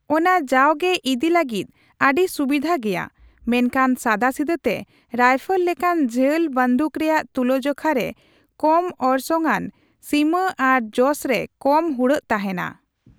ᱚᱱᱟ ᱡᱟᱣᱜᱮ ᱤᱫᱤ ᱞᱟᱹᱜᱤᱫ ᱟᱹᱰᱤ ᱥᱩᱵᱤᱫᱷᱟ ᱜᱮᱭᱟ, ᱢᱮᱱᱠᱷᱟᱱ ᱥᱟᱫᱟᱥᱤᱫᱟᱹ ᱛᱮ ᱨᱟᱭᱯᱷᱚᱞ ᱞᱮᱠᱟᱱ ᱡᱷᱟᱹᱞ ᱵᱟᱹᱫᱩᱠ ᱨᱮᱭᱟᱜ ᱛᱩᱞᱟᱹᱡᱚᱠᱷᱟ ᱨᱮ ᱠᱚᱢ ᱚᱨᱥᱚᱝᱟᱱ ᱥᱤᱢᱟᱹ ᱟᱨ ᱡᱚᱥ ᱨᱮ ᱠᱚᱢ ᱦᱩᱲᱟᱹᱜ ᱛᱟᱦᱮᱱᱟ ᱾